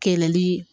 Kɛlɛli